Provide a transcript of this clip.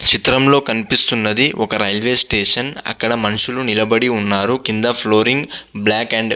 చిత్రంలో కనిపెస్తునది ఒక రివి స్టేషన్ అక్కడ మనషులు నిలబడి ఉన్నారు. కాస్త ఫ్లోరింగ్ బ్యాక్ --